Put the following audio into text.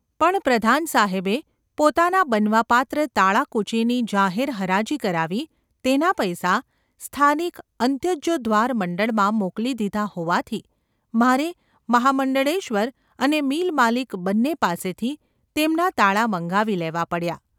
પણ પ્રધાનસાહેબે પોતાનાં બનવાપાત્ર તાળાંકૂંચીની જાહેર હરાજી કરાવી તેના પૈસા સ્થાનિક અંત્યજોદ્ધાર મંડળમાં મોકલી દીધાં હોવાથી મારે મહામંડળેશ્વર અને મિલમાલિક બન્ને પાસેથી તેમનાં તાળાં મંગાવી લેવાં પડ્યાં.